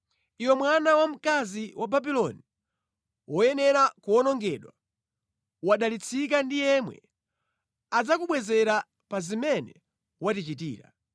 Iwe mwana wa mkazi wa Babuloni, woyenera kuwonongedwa, wodalitsika ndi yemwe adzakubwezera pa zimene watichitira.